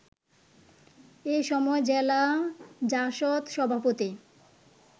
এসময় জেলা জাসদ সভাপতি